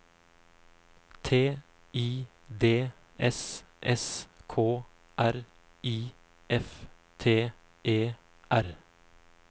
T I D S S K R I F T E R